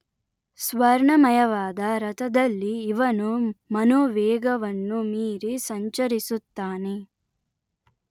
ಸ್ವರ್ಣಮಯವಾದ ರಥದಲ್ಲಿ ಇವನು ಮನೋವೇಗವನ್ನು ಮೀರಿ ಸಂಚರಿಸುತ್ತಾನೆ